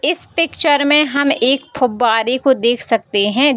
इस पिक्चर में हम एक फ़ुब्बारे को देख सकते हैं।